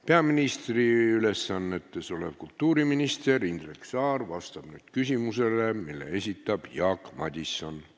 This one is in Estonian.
Peaministri ülesannetes olev kultuuriminister Indrek Saar vastab nüüd küsimusele, mille esitab Jaak Madison.